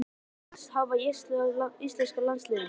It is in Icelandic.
Hvern af þessum vildir þú helst hafa í íslenska landsliðinu?